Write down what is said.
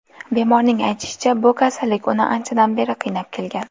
Bemorning aytishicha, bu kasallik uni anchadan beri qiynab kelgan.